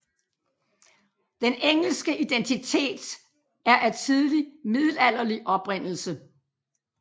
Den engelske identitet er af tidlig middelalderlig oprindelse